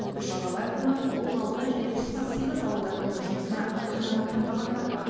үш қала әкімі он аудан және тоқсан сегіз ауыл әкімінің жұмысына қанағаттанбағандар бар